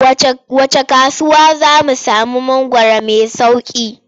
Wacce kasuwa za mu sami mangwaro mai sauƙi?